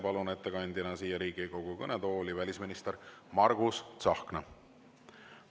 Palun ettekandeks siia Riigikogu kõnetooli välisminister Margus Tsahkna.